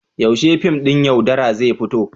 Yaushe fim ɗin "Yaudara" zai fito?